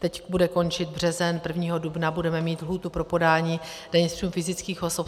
Teď bude končit březen, 1. dubna budeme mít lhůtu pro podání daně z příjmů fyzických osob.